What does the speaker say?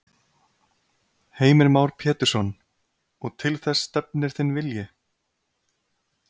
Heimir Már Pétursson: Og til þess stefnir þinn vilji?